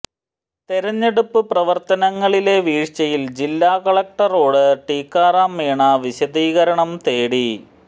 തെരഞ്ഞെടുപ്പ് പ്രവർത്തനങ്ങളിലെ വീഴ്ചയിൽ ജില്ലാ കളക്ടറോട് ടിക്കാറാം മീണ വിശദീകരണം തേടി